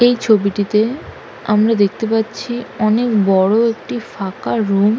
এই ছবিটিতে আমরা দেখতে পাচ্ছি অনেক বড় একটি ফাঁকা রুম ।